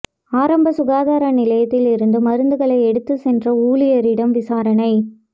ஆரம்ப சுகாதார நிலையத்தில் இருந்து மருந்துகளை எடுத்துச் சென்ற ஊழியரிடம் விசாரணை